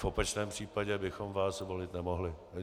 V opačném případě bychom vás volit nemohli.